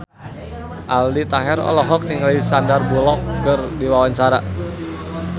Aldi Taher olohok ningali Sandar Bullock keur diwawancara